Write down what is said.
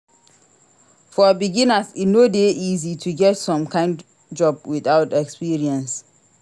For beginners e no de easy to get some kind job without experience